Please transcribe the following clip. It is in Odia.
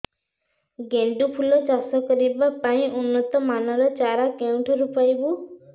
ଗେଣ୍ଡୁ ଫୁଲ ଚାଷ କରିବା ପାଇଁ ଉନ୍ନତ ମାନର ଚାରା କେଉଁଠାରୁ ପାଇବୁ